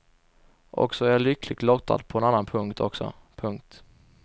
Och så är jag lyckligt lottad på en annan punkt också. punkt